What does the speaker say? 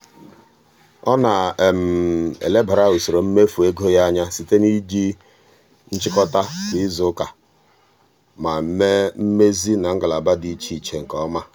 ọ na-elebara usoro mmefu ego ya anya site n'iji nchịkọta kwa izuụka ma mee mmezi na ngalaba dị iche iche nke ọma.